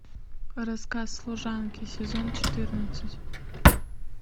рассказ служанки сезон четырнадцать